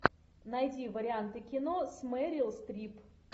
найди варианты кино с мерил стрип